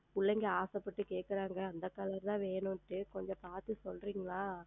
பிள்ளைகள் ஆசை வைத்து கேட்கிறார்கள் அந்த Color தான் வேண்டும் என்று கொஞ்சம் பார்த்து சொல்லுகிறீரா